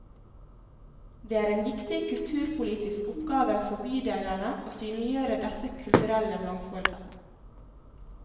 Det er en viktig kulturpolitisk oppgave for bydelene å synliggjøre dette kulturelle mangfoldet.